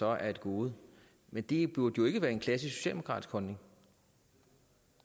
er et gode men det burde jo ikke være en klassisk socialdemokratisk holdning